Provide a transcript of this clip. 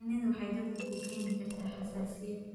Shinnidu waxay dadka ku keeni kartaa xasaasiyad.